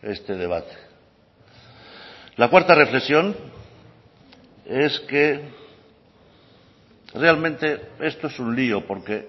este debate la cuarta reflexión es que realmente esto es un lio porque